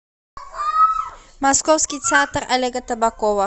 московский театр олега табакова